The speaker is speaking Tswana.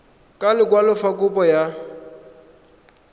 ka lekwalo fa kopo ya